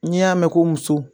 N'i y'a mɛn ko muso